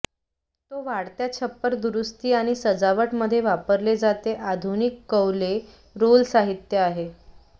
तो वाढत्या छप्पर दुरुस्ती आणि सजावट मध्ये वापरले जाते आधुनिक कौले रोल साहित्य आहे